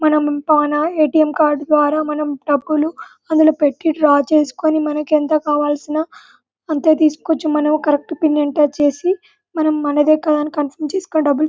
మనం ATM card ద్వారా మనం డబ్బులు అందులో పెట్టి డ్రా చేసుకొని మనకి ఎంత కావలిసిన అంతే తీస్కోవచ్చు మనము కరెక్ట్ పిన్ ఎంటర్ చేసి మనం మనదే కదా అని కంఫర్మ్ చేసుకొని డబ్బులు --